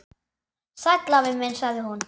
Sæll afi minn sagði hún.